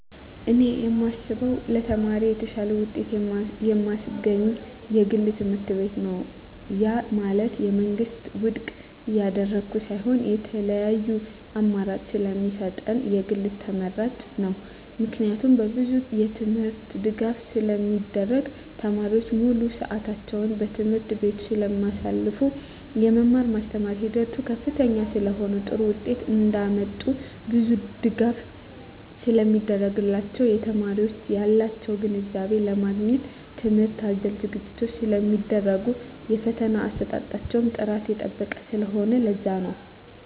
እኔ የማስበው ለተማሪዎች የተሻለ ውጤት የማስገኝ የግል ትምህርትቤት ነው ያ ማለት የመንግስትን ውድቅ እያደረኩ ሳይሆን የተለያዪ አማራጭ ስለሚሰጠን የግል ተመራጭ ነው። ምክንያቱም በብዙ የትምህርት ድጋፍ ስለሚደረግ , ተማሪዎች ሙሉ ስዕታቸውን በትምህርት ቤቱ ስለማሳልፋ , የመማር ማስተማር ሂደቱ ከፍተኛ ስለሆነ ጥሩ ውጤት እንዳመጡ ብዙ ድጋፍ ስለሚደረግላቸው , የተማሪዎች ያላቸውን ግንዛቤ ለማግኘት ትምህርት አዘል ዝግጅቶች ስለሚደረጉ የፈተና አሰጣጣቸው ጥራቱን የጠበቀ ስለሆነ ለዛ ነው